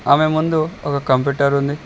ఆమె ముందు ఒక కంప్యూటర్ ఉంది.